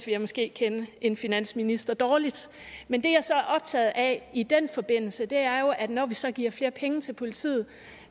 jeg måske kende en finansminister dårligt men det jeg så er optaget af i den forbindelse er jo at når vi så giver flere penge til politiet